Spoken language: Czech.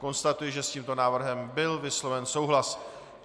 Konstatuji, že s tímto návrhem byl vysloven souhlas.